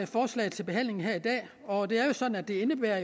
forslaget til behandling her i dag og det er jo sådan at det indebærer